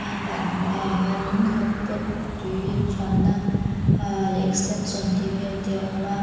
hetah a hnuaiah hianin hotpot tui an chhuanna aa leh extension tih vel te a awm a.